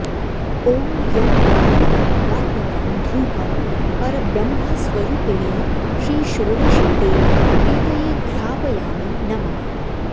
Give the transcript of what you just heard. ॐ यं वायुतत्त्वात्मकं धूपं परब्रह्मस्वरूपिणी श्रीषोडशीदेवी प्रीतये घ्रापयामि नमः